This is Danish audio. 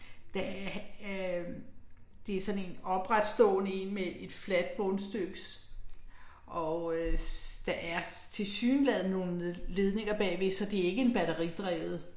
Der øh det er sådan en opretstående én med et fladt bundstykkes. Og øh der er tilsyneladende nogle ledninger bagved, så det er ikke en batteridrevet